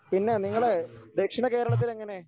പിന്നെ നിങ്ങളേ ദക്ഷിണ കേരളത്തിലെങ്ങനെ